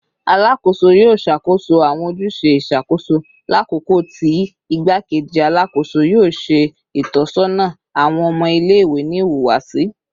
Alakoso yoo ṣakoso awọn ojuse iṣakoso lakoko ti Igbakeji Alakoso yoo ṣe itọsọna awọn ọmọ ile-iwe ni ihuwasi